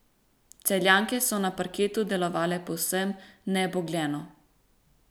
Celjanke so na parketu delovale povsem nebogljeno.